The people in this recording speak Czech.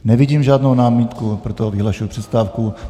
Nevidím žádnou námitku, proto vyhlašuji přestávku.